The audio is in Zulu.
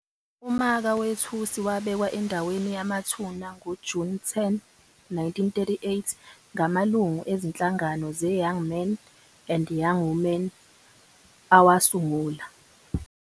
Umaka wethusi wabekwa endaweni yamathuna ngoJuni 10, 1938, ngamalungu ezinhlangano zeYoung Men and Young Women, awasungula.